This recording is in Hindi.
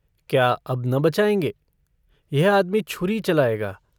क्या अब न बचाएंगे? यह आदमी छुरी चलाएगा।